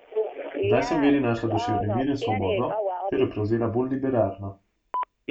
Zdaj sem v veri našla duševni mir in svobodo ter jo prevzela bolj liberalno.